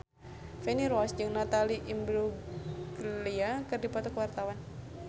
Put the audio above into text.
Feni Rose jeung Natalie Imbruglia keur dipoto ku wartawan